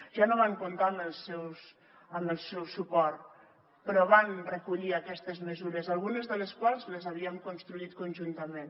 ja no van comptar amb el seu suport però van recollir aquestes mesures algunes de les quals les havíem construït conjuntament